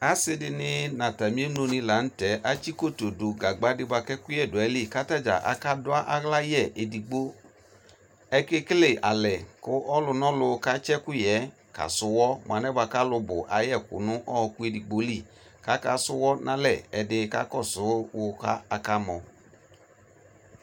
Ase de ne no atame emlo ne lantɛ atse koto do gagba de boa kɛ ɔkuyɛ do ayili ko atadza aka yɛ edigbo Ake kele alɛ ko ɔlunɔlu katse ɛkuyɛ kasu uwɔ moa lɛ boako alu bu ayɛku no ɔku edigbo li ka su wɔ nalɛ Ɛde kakɔso wo kaka mɔ